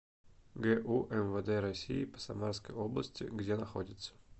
гу мвд россии по самарской области где находится